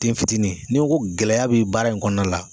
Den fitinin n'i n ko gɛlɛya bɛ baara in kɔnɔna la